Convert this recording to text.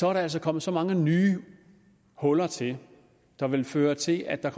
er der altså kommet så mange nye huller til der ville føre til at der